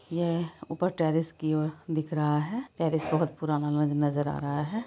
यह ऊपर टेरेस की ओर दिख रहा है टेरेस बहुत पुराना नजर आ रहा है।